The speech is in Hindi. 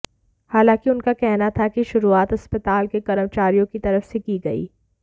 हालाँकि उनका कहना था कि शुरुआत अस्पताल के कर्मचारियों की तरफ से की गई